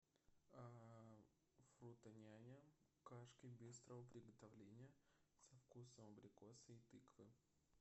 фрутоняня кашки быстрого приготовления со вкусом абрикоса и тыквы